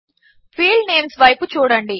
field names వైపు చూడండి